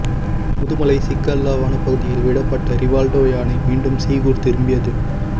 முதுமலை சிக்கல்லா வனப்பகுதியில் விடப்பட்ட ரிவால்டோ யானை மீண்டும் சீகூர் திரும்பியது